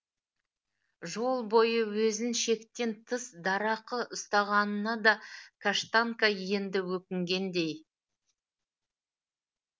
жол бойы өзін шектен тыс дарақы ұстағанына да каштанка енді өкінгендей